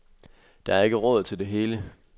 Der er ikke råd til det hele.